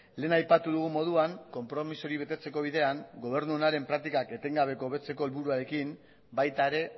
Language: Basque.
lehen aipatu dugun moduan konpromiso hori betetzeko bidean gobernu onaren praktikak etengabeko hobetzeko helburuarekin baita ere